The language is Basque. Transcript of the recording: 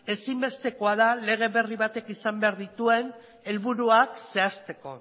ezinbestekoa da lege berri batek izan behar dituen helburuak zehazteko